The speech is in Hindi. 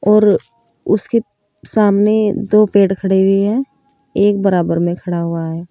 और उसके सामने दो पेड़ खड़े हुई हैं एक बराबर में खड़ा हुआ है।